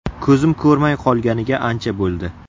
Ko‘zim ko‘rmay qolganiga ancha bo‘ldi.